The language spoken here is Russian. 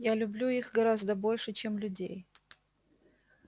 я люблю их гораздо больше чем людей